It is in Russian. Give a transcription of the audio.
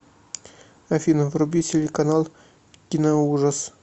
афина вруби телеканал киноужас